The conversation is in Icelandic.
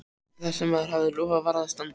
Það sem maður hafði lofað varð að standa.